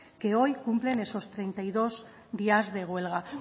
que hoy cumplen esos treinta y dos días de huelga